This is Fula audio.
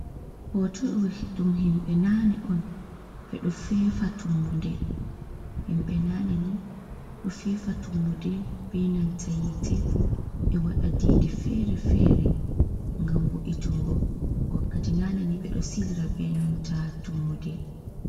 Hooto ɗo ɗum himɓe naane on, ɓe ɗo feefa Tummude, himɓe naane ni ɗo feefa Tummude bee nanta yiite, ɓe waɗa diidi feere-feere ngam wo’'itunngo, wakkati naane ni ɓe ɗo silira bee nanta Tummude.